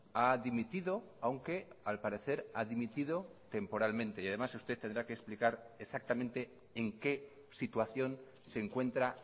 ha dimitido aunque al parecer ha dimitido temporalmente y además usted tendrá que explicar exactamente en qué situación se encuentra